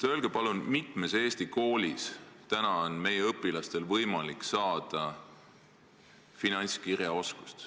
Öelge palun, mitmes Eesti koolis on meie õpilastel täna võimalik omandada finantskirjaoskus.